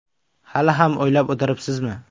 Hali ham o‘ylab o‘tiribsizmi ?